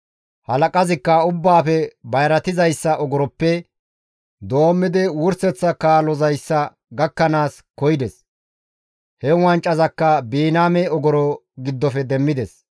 Halaqazikka ubbaafe bayratizayssa ogoroppe doommidi wurseththa kaalozayssa gakkanaas koyides; he wancazakka Biniyaame ogoro giddofe demmides.